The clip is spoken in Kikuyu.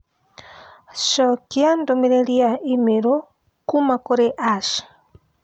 Cokia dũmĩrĩri ya i-mīrū kuuma kũrĩ Ash